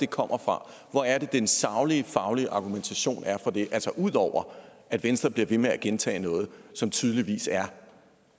kommer fra hvor er den saglige faglige argumentation for det altså ud over at venstre bliver ved med at gentage noget som tydeligvis er